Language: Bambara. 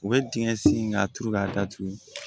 U bɛ dingɛ sen ka turu k'a datugu